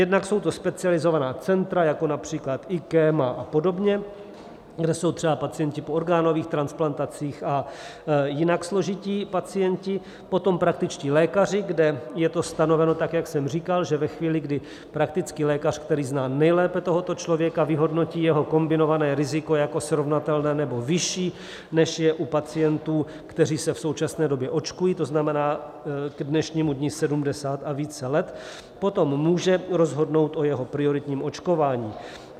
Jednak jsou to specializovaná centra jako například IKEM a podobně, kde jsou třeba pacienti po orgánových transplantacích a jinak složití pacienti, potom praktičtí lékaři, kde je to stanoveno tak, jak jsem říkal, že ve chvíli, kdy praktický lékař, který zná nejlépe tohoto člověka, vyhodnotí jeho kombinované riziko jako srovnatelné nebo vyšší, než je u pacientů, kteří se v současné době očkují, to znamená k dnešnímu dni 70 a více let, potom může rozhodnout o jeho prioritním očkování.